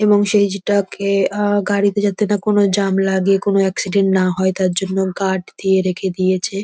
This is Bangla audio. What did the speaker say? এবং সেই যেটাকে আহ গাড়িতে যাতে না কোন জাম লাগে কোন এক্সিডেন্ট না হয় তা জন্য গার্ড দিয়ে রেখে দিয়েছে।